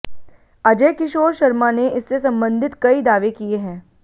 अजय किशोर शर्मा ने इससे संबन्धित कई दावे किए हैं